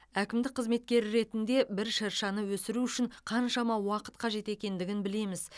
әкімдік қызметкері ретінде бір шыршаны өсіру үшін қаншама уақыт қажет екендігін білеміз